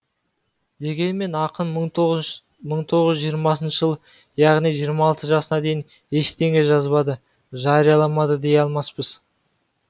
дегенмен ақын бір мың тоғыз жүз жиырмасыншы жылы яғни жиырма алты жасына дейін ештеңе жазбады жарияламады дей алмаспыз